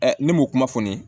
ne m'o kuma fɔ n ye